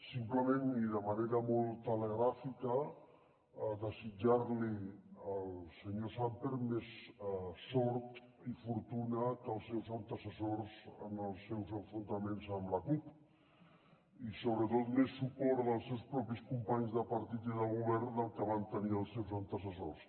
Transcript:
simplement i de manera molt telegràfica desitjar li al senyor sàmper més sort i fortuna que els seus antecessors en els seus enfrontaments amb la cup i sobretot més suport dels seus propis companys de partit i de govern del que van tenir els seus antecessors